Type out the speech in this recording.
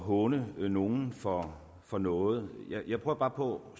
håne nogen for for noget jeg prøver bare på